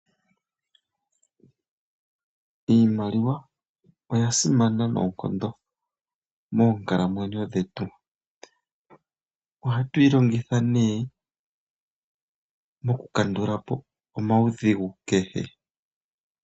Iimaliwa oya simana noonkondo moonkalamwenyo dhetu. Ohatu yi longitha nee oku kandulapo omaudhigu kehe.